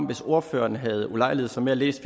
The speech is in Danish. hvis ordføreren havde ulejliget sig med at læse